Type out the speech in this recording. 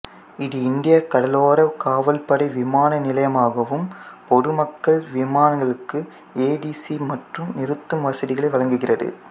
இது இந்தியக் கடலோர காவல்படை விமான நிலையமாகவும் பொதுமக்கள் விமானங்களுக்கு ஏடிசி மற்றும் நிறுத்தும் வசதிகளை வழங்குகிறது